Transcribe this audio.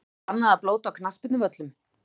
Er bannað að blóta á knattspyrnuvöllum?!